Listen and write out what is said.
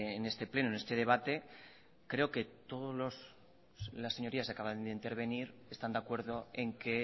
en este pleno en este debate creo que todos las señorías que acaban de intervenir están de acuerdo en que